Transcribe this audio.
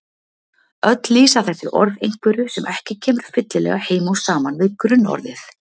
Öll lýsa þessi orð einhverju sem ekki kemur fyllilega heim og saman við grunnorðið.